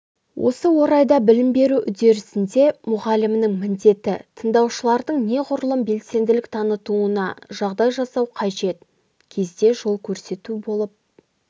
осы орайда білім беру үдерісінде мұғалімнің міндеті тыңдаушылардың неғұрлым белсенділік танытуына жағдай жасау қажет кезде жол көрсету болып